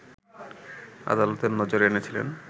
আদালতের নজরে এনেছিলেন